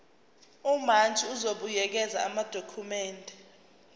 umantshi uzobuyekeza amadokhumende